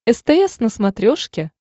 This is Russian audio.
стс на смотрешке